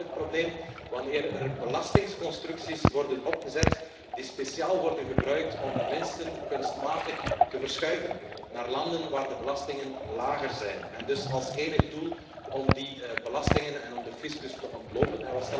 Maar er is wél een probleem wanneer er belastingconstructies worden opgezet die speciaal worden gebruikt om winsten kunstmatig te verschuiven naar landen waar de belastingen lager zijn met als enig doel die belastingen en de fiscus te ontlopen.